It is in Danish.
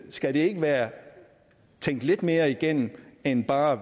skal det ikke være tænkt lidt mere igennem end bare